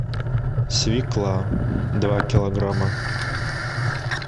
свекла два килограмма